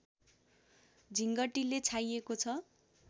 झिँगटीले छाइएको छ